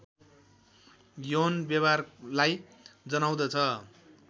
यौन व्यवहारलाई जनाउँदछ